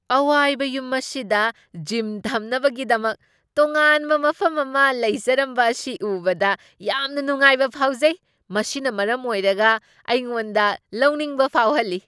ꯑꯋꯥꯏꯕ ꯌꯨꯝ ꯑꯁꯤꯗ ꯖꯤꯝ ꯊꯝꯅꯕꯒꯤꯗꯃꯛ ꯇꯣꯉꯥꯟꯕ ꯃꯐꯝ ꯑꯃ ꯂꯩꯖꯔꯝꯕ ꯑꯁꯤ ꯎꯕꯗ ꯌꯥꯝꯅ ꯅꯨꯡꯉꯥꯏꯕ ꯐꯥꯎꯖꯩ, ꯃꯁꯤꯅ ꯃꯔꯝ ꯑꯣꯏꯔꯒ ꯑꯩꯉꯣꯟꯗ ꯂꯧꯅꯤꯡꯕ ꯐꯥꯎꯍꯜꯂꯤ꯫